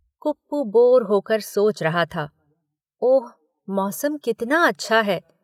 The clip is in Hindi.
कुप्पू बोर होकर सोच रहा था, ‘ओह, मौसम कितना अच्छा है।